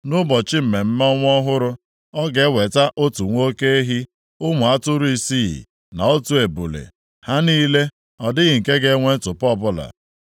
Nʼụbọchị mmemme ọnwa ọhụrụ, ọ ga-eweta otu nwa oke ehi, ụmụ atụrụ isii na otu ebule, ha niile ọ dịghị nke ga-enwe ntụpọ ọbụla.